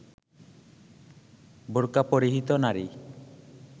বোরকা পরিহিত নারী